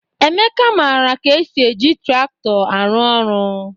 Emeka mara ka esi eji traktọ arụ-ọrụ